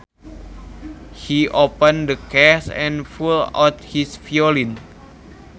He opened the case and pulled out his violin